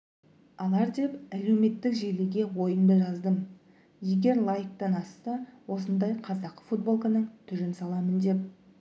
алар деп әлеуметтік желіге ойымды жаздым егер лайктан асса осындай қазақы футболканың түрін саламын деп